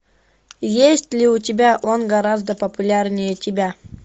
есть ли у тебя он гораздо популярнее тебя